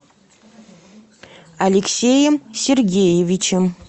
алексеем сергеевичем